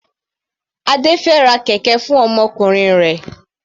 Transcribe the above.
Adé fẹ ra kẹ̀kẹ́ fún ọmọkùnrin rẹ̀.